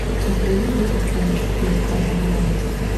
у тебя есть дети шпионов четыре армагеддон